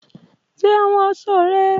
Ṣe awọn aṣọ rẹ!